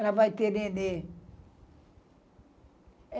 Ela vai ter neném.